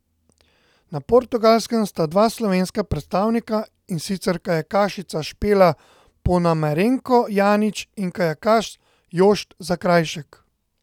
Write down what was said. Na Portugalskem sta dva slovenska predstavnika, in sicer kajakašica Špela Ponomarenko Janić in kajakaš Jošt Zakrajšek.